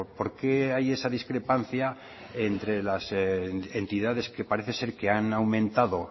por qué hay esa discrepancia entre las entidades que parece ser que han aumentado